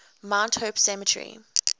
mount hope cemetery